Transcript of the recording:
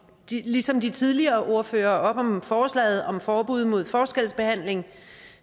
ligesom de tidligere ordførere op om forslaget om forbud mod forskelsbehandling